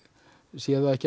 sé það ekki